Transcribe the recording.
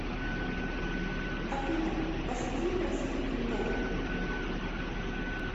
афина пошути про сильный пол